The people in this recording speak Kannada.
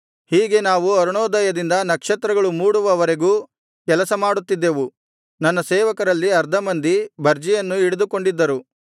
ಹೀಗೆ ನಾವು ಅರುಣೋದಯದಿಂದ ನಕ್ಷತ್ರಗಳು ಮೂಡುವವರೆಗೂ ಕೆಲಸ ಮಾಡುತ್ತಿದ್ದೆವು ನನ್ನ ಸೇವಕರಲ್ಲಿ ಅರ್ಧ ಮಂದಿ ಬರ್ಜಿಯನ್ನು ಹಿಡಿದುಕೊಂಡಿದ್ದರು